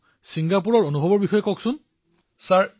শ্ৰী হৰি জি বিঃ মহাশয় তালৈ ছয়খন দেশে অংশগ্ৰহণ কৰিছিল